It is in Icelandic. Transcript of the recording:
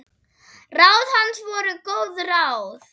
Ráð hans voru góð ráð.